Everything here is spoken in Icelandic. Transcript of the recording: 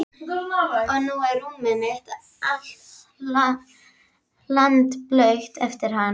Og nú er rúmið mitt allt hlandblautt eftir hann.